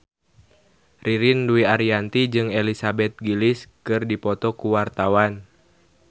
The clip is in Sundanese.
Ririn Dwi Ariyanti jeung Elizabeth Gillies keur dipoto ku wartawan